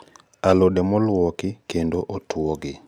Alode moluoki kendo otuogi